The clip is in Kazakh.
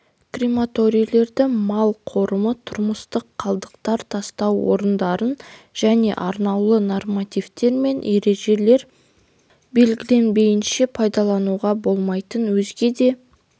крематорийлерді мал қорымы тұрмыстық қалдықтар тастау орындарын және арнаулы нормативтер мен ережелер белгіленбейінше пайдалануға болмайтын өзге де